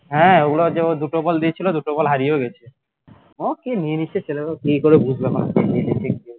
হ্যাঁ ওগুলো আর যে দুটো বল দিয়েছিলে দুটো বল হারিয়েও গেছে কে নিয়ে নিয়েছে ছেলেগুলা কিকরে বুঝতে পারা যায় না নিয়ে নিয়েছে